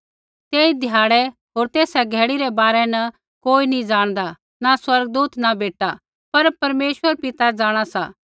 तेई ध्याड़ै होर तेसा घड़ी रै बारै न कोई नी ज़ाणदा न स्वर्गदूत न बेटा पर परमेश्वर पिता जाँणा सा